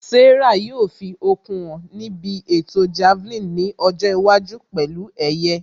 Sarah yóò fi okun hàn níbi ètò Javelin nkiọjọ́ iwájú pẹ̀lú ẹ̀yẹ